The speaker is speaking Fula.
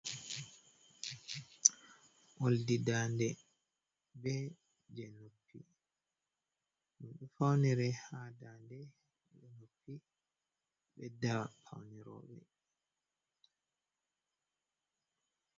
Oldi dande be je noppi, faunire ha dande je noppi ɓedda faune roɓe.